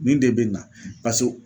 Nin de bɛ na